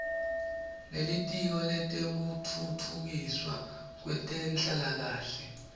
nelitiko letekutfutfukiswa kwetenhlalakahle